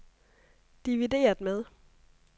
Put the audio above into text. divideret med